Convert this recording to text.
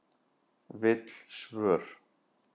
Vill svör